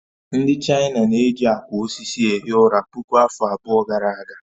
Ndị China na-eji akwa osisi ehi ụra puku afọ abụọ gara aga